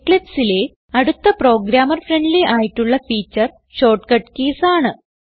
Eclipseലെ അടുത്ത programmer friendly ആയിട്ടുള്ള feature shortcut keys ആണ്